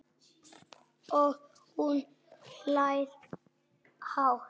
Og hún hlær hátt.